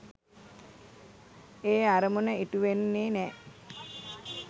ඒ අරමුණ ඉටු වෙන්නෙ නෑ